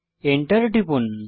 enter টিপুন